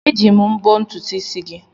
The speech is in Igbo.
Eji m mbọ́ ntutu isi gị.